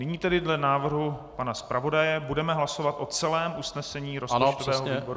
Nyní tedy dle návrhu pana zpravodaje budeme hlasovat o celém usnesení rozpočtového výboru.